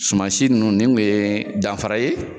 Sumansi ninnu ni kun ye danfara ye.